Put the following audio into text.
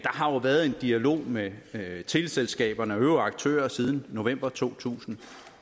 har jo været en dialog med teleselskaberne og øvrige aktører siden november to tusind